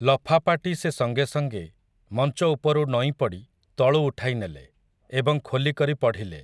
ଲଫାପାଟି ସେ ସଙ୍ଗେ ସଙ୍ଗେ, ମଞ୍ଚ ଉପରୁ ନଇଁପଡ଼ି, ତଳୁ ଉଠାଇନେଲେ, ଏବଂ ଖୋଲିକରି ପଢ଼ିଲେ ।